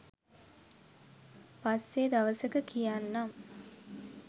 පස්සෙ දවසක කියන්නම්..